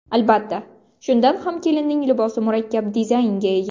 Albatta, shunda ham kelinning libosi murakkab dizaynga ega.